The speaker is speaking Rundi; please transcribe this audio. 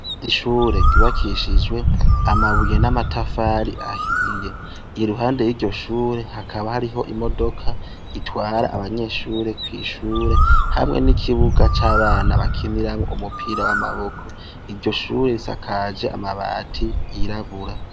Ishure ryubakishijwe amabuye n' amatafari ahiye. Iruhande y' iryo shure hakaba hariho imodoka itwara abanyeshure kw' ishure, hamwe n' ikibuga c' abana bakinirako umupira w' amaboko. Iryo shure risakajwe amabati yirabura.